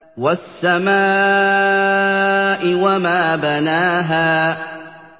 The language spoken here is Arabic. وَالسَّمَاءِ وَمَا بَنَاهَا